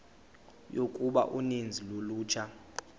yokuba uninzi lolutsha